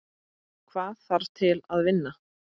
Hvað þarf til að vinna?